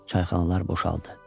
Çayxanalar boşaldı.